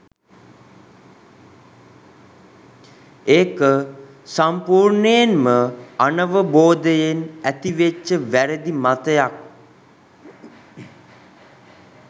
ඒක සම්පූර්ණයෙන්ම අනවබෝධයෙන් ඇතිවෙච්ච වැරදි මතයක්